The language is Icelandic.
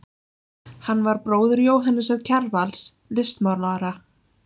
Hann var bróðir Jóhannesar Kjarvals, listmálara.